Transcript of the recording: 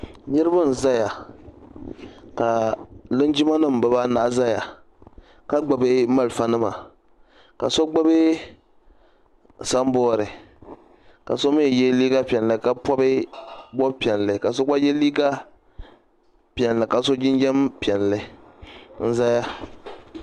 Niriba n zaya ka linjima nima bibaanahi zaya ka gbibi malifa nima ka so gbibi samboori ka so mee ye liiga piɛlli ka bobi bobi'piɛli ka so ye liiga piɛli ka so jinjiɛm piɛlli n zaya.